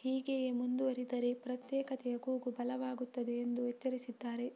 ಹೀಗೆಯೇ ಮುಂದುವರಿದರೆ ಪ್ರತ್ಯೇಕತೆಯ ಕೂಗು ಬಲವಾಗುತ್ತದೆ ಎಂದು ಎಚ್ಚರಿಸಿದ್ದಾರೆ